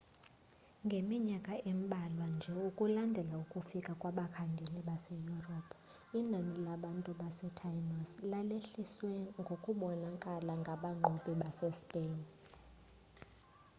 ngeminyakana embalwa nje ukulandela ukufika kwabakhangeli base-europe inani labantu basetainos lalehlesiwe ngokubonakalayo ngabanqobi base-spain